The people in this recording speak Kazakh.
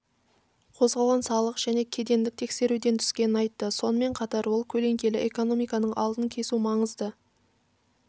қозғалған салық және кедендік тексерулерден түскенін айтты сонымен қатар ол көлеңкелі экономиканың алдын кесу маңызды